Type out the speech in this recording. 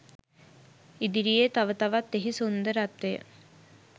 ඉදිරියේ තව තවත් එහි සුන්දරත්වය